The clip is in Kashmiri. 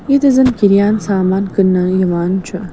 .ییٚتہِ زن کِریان سامان کٔننہٕ یِوان چُھ